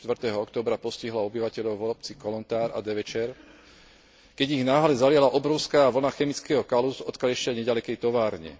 4. októbra postihlo obyvateľov obcí Kolontár a Devečer, keď ich náhle zaliala obrovská vlna chemického kalu z odkaliska neďalekej továrne.